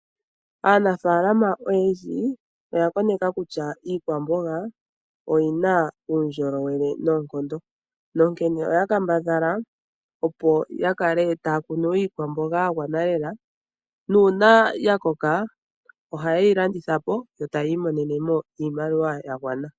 Aanafaalama oyendji, oya koneka kutya iikwamboga oyi na uundjolowele noonkondo, nonkene oya kambadhala opo ya kale taa kunu iikwamboga ya gwana lela, nuuna ya koka, oha ye yi landitha po, yo ta ya imononene mo iimaliwa ya gwana.